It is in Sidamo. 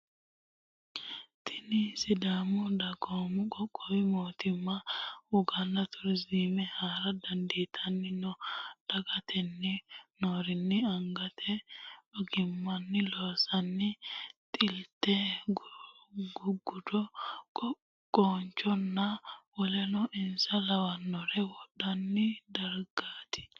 Tinni sidaamu dagoomu qoqqowi mootimma woganna turiziimete hara daa'atanni no. Daa'atanni noorino angate ogimanni loonsoonni xilte, gugudo, qoonchonna woleno insa lawanore woroonni dargaati.